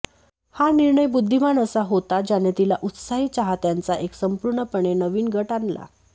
हा निर्णय बुद्धिमान असा होता ज्याने तिला उत्साही चाहत्यांचा एक संपूर्णपणे नवीन गट आणला